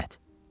Lənət.